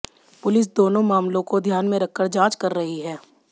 police दोनों मामलों को ध्यान में रखकर जांच कर रही है